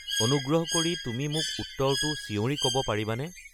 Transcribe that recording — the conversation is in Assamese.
অনুগ্ৰহ কৰি তুমি মোক উত্তৰটো চিঞৰি ক'ব পাৰিবানে